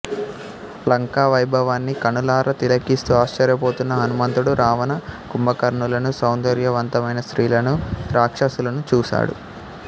లంకా వైభవాన్ని కనులారా తిలకిస్తూ ఆశ్చర్యపోతూన్న హనుమంతుడు రావణ కుంభకర్ణులను సౌందర్యవంతమైన స్త్రీలను రాక్షసులను చూసాడు